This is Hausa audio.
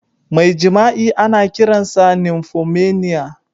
Mai jima'i ana kiransa "nymphomania".